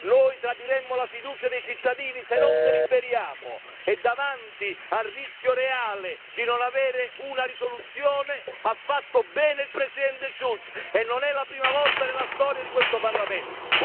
Noi tradiremmo la fiducia dei cittadini se non deliberiamo e davanti al rischio reale di non avere una risoluzione ha fatto bene il Presidente Schulz e non è la prima volta nella storia di questo Parlamento.